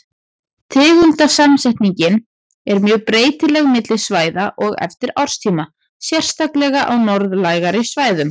Tegundasamsetningin er mjög breytileg milli svæða og eftir árstíma, sérstaklega á norðlægari svæðum.